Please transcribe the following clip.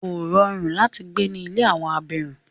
Kò rọrùn láti gbé ní ilé àwọn abirùn.